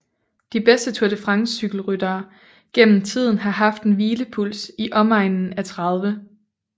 De bedste Tour de France cykelryttere gennem tiden har haft en hvilepuls i omegnen af 30